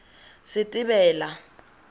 setebela